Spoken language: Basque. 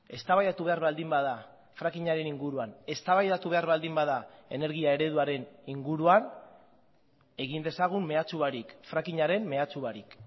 eztabaidatu behar baldin bada frackingaren inguruan eztabaidatu behar baldin bada energia ereduaren inguruan egin dezagun mehatxu barik frackingaren mehatxu barik